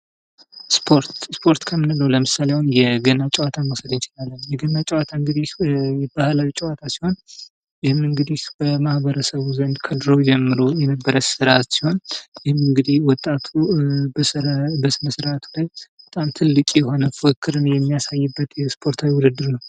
ስፖርት ። ስፖርት ከምንለው ለምሳሌ አሁን የገና ጨዋታን መውሰድ እንችላለን ። የገና ጨዋታ እንግዲህ ባህላዊ ጨዋታ ሲሆን ይህም እንግዲህ በማኅበረሰቡ ዘንድ ከድሮ ጀምሮ የነበረ ስርአት ሲሆን ይህም እንግዲህ ወጣቱ በስነስርአቱ ላይ በጣም ትልቅ የሆነ ፉክክርን የሚያሳይበት የስፖርታዊ ውድድር ነው ።